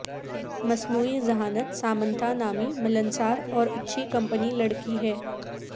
مصنوعی ذہانت سامنتھا نامی ملنسار اور اچھی کمپنی لڑکی ہے